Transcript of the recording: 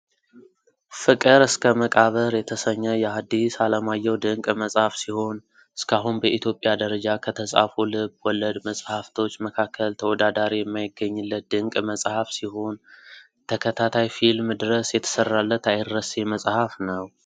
ፍቅር እስከ መቃብር የተሰኘ የሀዲስ አለማየሁ ድንቅ መጽሐፍ ሲሆን እስካሁን በኢትዮጵያ ደረጃ ከተፃፉ ልብ ወለድ መሀፍቶች መካከል ተወዳዳሪ የማይገኝለት ድንቅ መጽሀፍ ሲሆን ተከታታይ ፊልም ድረስ የተሰራለት አይረሴ መጽሐፍ ነው ።